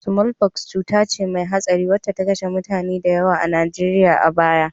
Sumolfoks cuta ce mai hatsari wacce ta kashe mutane da yawa a Najeriya a baya